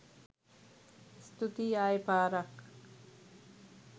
ස්තූතියි ආයේ පාරක්